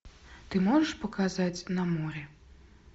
ты можешь показать на море